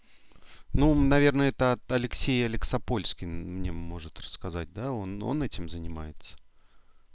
ну наверное это от алексея алекса польски мне может рассказать да он он этим занимается